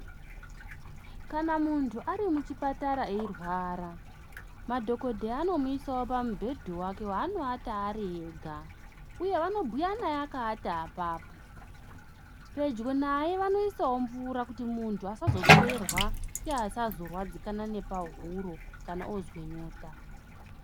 Kana muntu ari muchipatara eirwara madhokodheya anomuisawo pamubhedhu wake wanowata ari ega uye vanobhuya naye akaata apapo. Pedyo naye vanoisawo mvura yekuti asazopererwa uye asazorwadzikana nepahuro kana oozwa nyota.